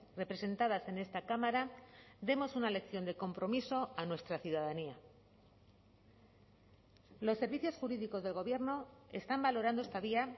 representadas en esta cámara demos una lección de compromiso a nuestra ciudadanía los servicios jurídicos del gobierno están valorando esta vía